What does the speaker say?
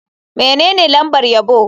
Menene lambar yabo?